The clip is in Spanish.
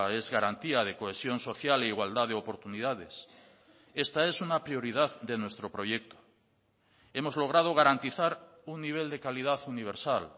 es garantía de cohesión social e igualdad de oportunidades esta es una prioridad de nuestro proyecto hemos logrado garantizar un nivel de calidad universal